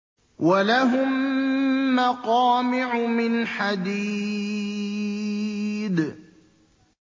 وَلَهُم مَّقَامِعُ مِنْ حَدِيدٍ